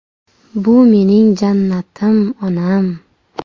Bu mening jannatim onam.